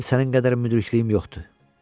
Mənim sənin qədər müdrikliyim yoxdur.